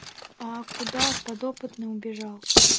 а куда подопытный убежал